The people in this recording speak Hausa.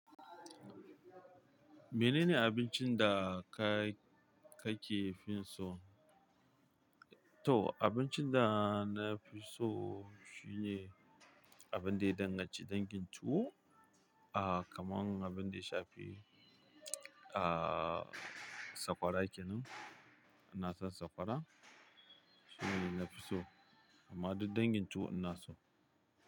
Menene abincin da kake fin so? To, abincin da na fi so shine abin da ya danganci dangin tuwo, ah, kamar abin da ya shafi, ah, sakwara kenan. Ina son sakwara. Shine ne na fi so. Amma duk dangin tuwo ina so.